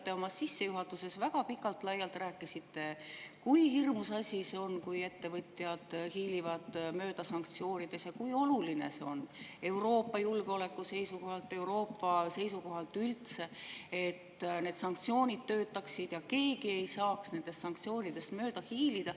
Kõigepealt, oma sissejuhatuses te rääkisite väga pikalt-laialt, kui hirmus asi see on, kui ettevõtjad hiilivad mööda sanktsioonidest, ja kui oluline on Euroopa julgeoleku seisukohalt üldse, et sanktsioonid töötaksid ja keegi ei saaks nendest mööda hiilida.